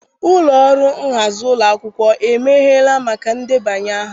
Ụlọ ọrụ nhazi ụlọ akwụkwọ emeghere maka ndebanye aha?